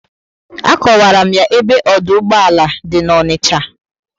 Akowara m ya ebe ọdụ ụgbọala dị na Onicha